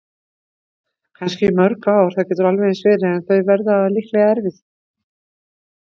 Kannski í mörg ár, það getur alveg eins verið- en þau verða líklega erfið.